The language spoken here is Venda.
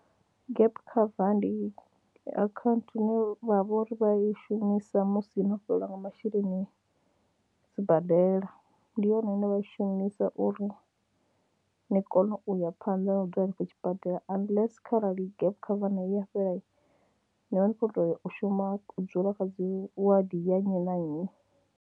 Gap cover ndi akhaunthu ine vha vha uri vha i shumisa musi no fhelelwa nga masheleni sibadela, ndi yone ine vha i shumisa uri ni kone u ya phanḓa na u dzula henefho tshibadela unless kharali gap cover nayo ya fhela, ni vha ni khou tou u shuma u dzula kha dzi wadi ya nnyi na nnyi.